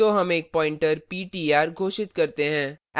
तो हम एक pointer ptr घोषित करते हैं